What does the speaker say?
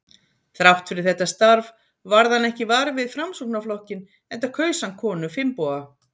Þrátt fyrir þetta starf varð hann ekki var við Framsóknarflokkinn, enda kaus hann konu Finnboga